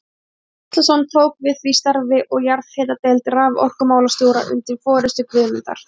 Gíslason tók við því starfi, og jarðhitadeild raforkumálastjóra undir forystu Guðmundar